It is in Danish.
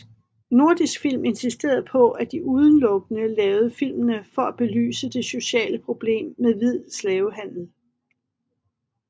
Nordisk Film insisterede på at de udelukkende lavede filmene for at belyse det sociale problem med hvid slavehandel